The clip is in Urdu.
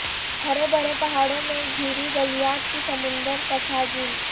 ہرے بھرے پہاڑوں میں گھری گلیات کی سمندر کٹھا جھیل